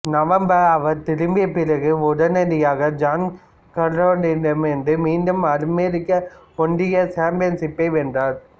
நவம்பரில் அவர் திரும்பிய பிறகு உடனடியாக ஜான் கார்லிட்டோவிடம் இருந்து மீண்டும் அமெரிக்க ஒன்றிய சாம்பியன்ஷிப்பை வென்றார்